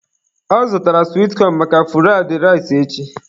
Ọ zụtara swit cọn maka fụraid rais echi